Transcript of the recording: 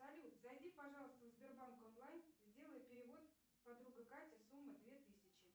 салют зайди пожалуйста в сбербанк онлайн сделай перевод подруга катя сумма две тысячи